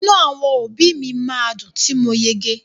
Inu àwọn òbí mi ma dùn ti mo yege.